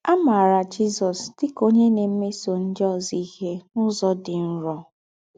À máarà Jízọ̀s dị́ kà ónyè ná-èmésọ̀ ńdị́ ózọ íhe n’ụ́zọ̀ dị́ nrọ.